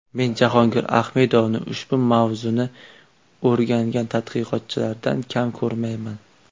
Men Jahongir Ahmedovni ushbu mavzuni o‘rgangan tadqiqotchilardan kam ko‘rmayman.